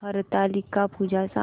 हरतालिका पूजा सांग